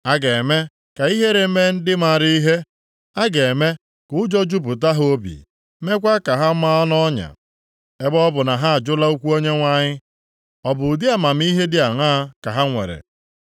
A ga-eme ka ihere mee ndị maara ihe; a ga-eme ka ụjọ jupụta ha obi, meekwa ka ha maa nʼọnya. Ebe ọ bụ na ha ajụla okwu Onyenwe anyị, ọ bụ ụdị amamihe dị aṅaa ka ha nwere?